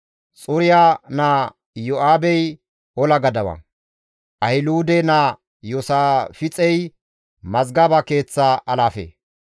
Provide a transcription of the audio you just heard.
Xuriya naa Iyo7aabey ola gadawa; Ahiluude naa Iyoosaafixey mazgaba keeththa alaafe.